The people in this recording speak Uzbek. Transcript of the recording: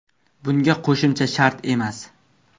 Bunga qo‘shimcha shart emas.